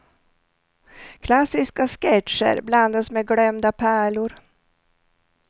Klassiska sketcher blandas med glömda pärlor.